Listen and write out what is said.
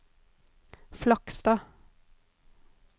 Flakstad